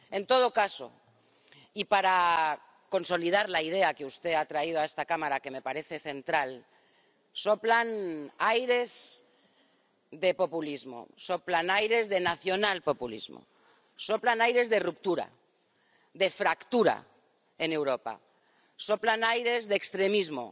En todo caso, y para consolidar la idea que usted ha traído a esta Cámara, que me parece central, soplan aires de populismo, soplan aires del nacional populismo, soplan aires de ruptura, de fractura en Europa, soplan aires de extremismo,